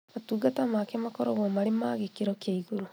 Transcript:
Motungata make makoragwo marĩ ma gĩkĩro kĩa igũrũ